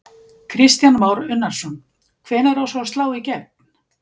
Kristján Már Unnarsson: Hvenær á svo að slá í gegn?